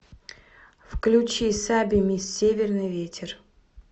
включи саби мисс северный ветер